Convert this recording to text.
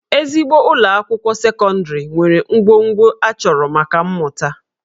Ezigbo ụlọ akwụkwọ sekọndịrị nwere ngwongwo a chọrọ maka mmụta